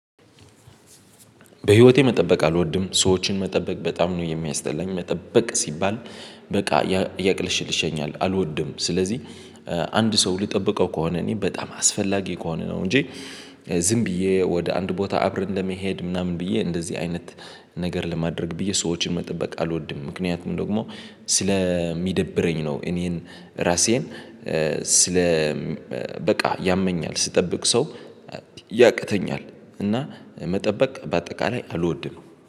በህይወቴ መጠበቅ አልወድም ሰዎችን መጠበቅ በጣም ነው የሚያስጠላኝ መጠበቅ ሲባል በቃ ያቅልሽልሽኛል አልወድም። ስለዚህ አንድ ሰው ልጠብቀው ከሆነ እኔ በጣም አስፈላጊ ከሆነ ነው እንጂ ዝም ብዬ ወደ አንድ ቦታ አብረን ለመሄድ ምናምን ብዬ እንደዚህ አይነት ነገር ለማድረግ ብዬ ሰዎችን መጠበቅ አልወድም። ምክንያቱም ደግሞ ስለሚደብረኝ ነው። እኔን ራሴን ስለ በቃ ያመኛል ስጠብቅ ሰው ያቅተኛል እና መጠበቅ በአጠቃላይ አልወድም